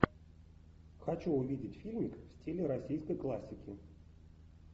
хочу увидеть фильмик в стиле российской классики